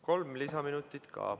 Kolm lisaminutit ka.